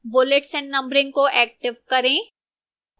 bullets and numbering को active करें